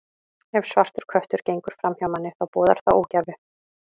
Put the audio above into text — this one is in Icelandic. Ef svartur köttur gengur fram hjá manni, þá boðar það ógæfu.